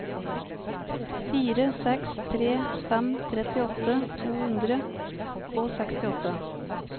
fire seks tre fem trettiåtte to hundre og sekstiåtte